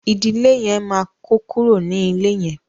ìdílé yén má kò kúrò ní ilè yén.